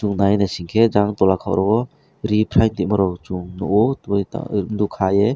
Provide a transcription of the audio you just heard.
nai nising ke jang tola kor o refrain ni morok chum nugo twi tw nug ka ei.